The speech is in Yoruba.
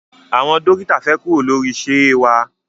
Àwọn dókítà fẹ kuro lori ṣeé wa